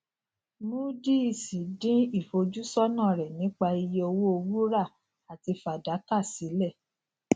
moodys dín ìfojúsónà rè nípa iye owó wúrà àti fàdákà sílè